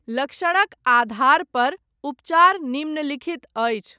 लक्षणक आधारपर, उपचार निम्नलिखित अछि।